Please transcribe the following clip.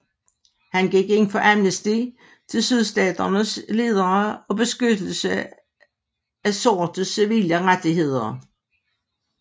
Han gik ind for amnesti til Sydstaternes ledere og beskyttelse af sortes civile rettigheder